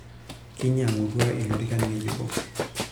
Kinyang'utua ilorikan ng'ejuko.